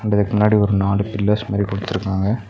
ரெண்டு வேக்கு முன்னாடி ஒரு நாலு பில்லர்ஸ் மாறி குடுத்துருக்காங்க.